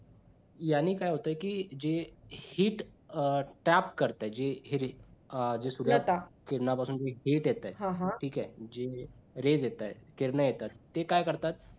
याने काय होतंय कि जे heat अं tab करतं जी अं किरण जी सूर्याच्याकिरणां पासून जी heat येते ठीक आहे जी rays येताहेत जी किरणं येतात ते काय करतात.